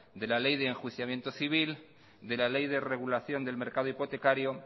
de la ley de enjuiciamiento civil de la ley de regulación del mercado hipotecario